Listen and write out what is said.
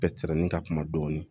Bɛɛ tɛrɛmin ka kuma dɔɔni